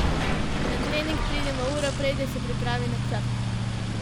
Na trening pridemo uro prej, da se pripravi načrt.